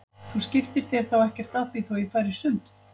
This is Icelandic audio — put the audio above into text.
Þú skiptir þér þá ekkert af því þótt ég fari í sund?